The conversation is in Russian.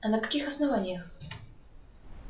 а на каких основаниях